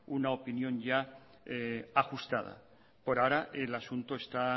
una opinión ya ajustada por ahora el asunto está